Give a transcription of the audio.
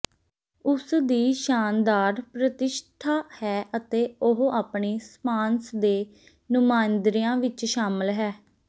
ਉਸ ਦੀ ਸ਼ਾਨਦਾਰ ਪ੍ਰਤਿਸ਼ਠਾ ਹੈ ਅਤੇ ਉਹ ਆਪਣੀ ਸਪਾਂਸ ਦੇ ਨੁਮਾਇੰਦਿਆਂ ਵਿਚ ਸ਼ਾਮਲ ਹੈ